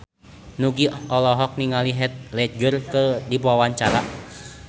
Nugie olohok ningali Heath Ledger keur diwawancara